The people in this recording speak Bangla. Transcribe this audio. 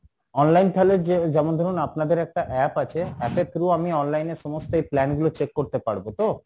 online তাহলে যে যেমন ধরুন আপনাদের একটা app আছে app এর through আমি online এ সমস্ত এই plan গুলো check করতে পারবো তো?